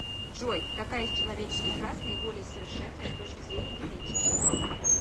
джой какая из человеческих рас наиболее совершенная с точки зрения генетики